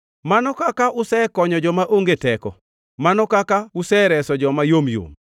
“Mano kaka usekonyo joma onge teko! Mano kaka usereso joma yomyom!